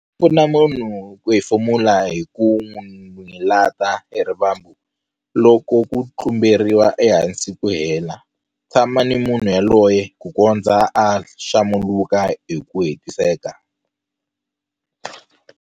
Pfuna munhu ku hefemula hi ku n'wi lata hi rivambu loko ku tlumberiwa ehansi ku hela. Tshama ni munhu yoloye ku kondza a xalamuka hi ku hetiseka.